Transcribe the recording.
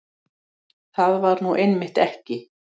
Það var nú einmitt ekki